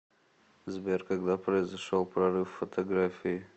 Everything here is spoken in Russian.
сбер когда произошел прорыв в фотографии